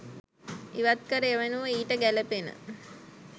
ඉවත්කර එවෙනුව ඊට ගැලපෙන